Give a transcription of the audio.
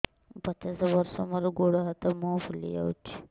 ମୁ ପଚାଶ ବର୍ଷ ମୋର ଗୋଡ ହାତ ମୁହଁ ଫୁଲି ଯାଉଛି